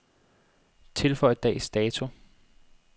Tilføj dags dato.